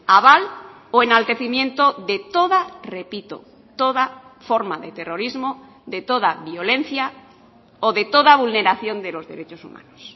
aval o enaltecimiento de toda repito toda forma de terrorismo de toda violencia o de toda vulneración de los derechos humanos